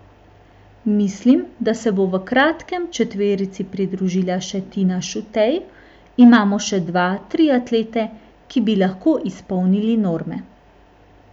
Mislim, da se bo v kratkem četverici pridružila še Tina Šutej, imamo še dva, tri atlete, ki bi lahko izpolnili norme.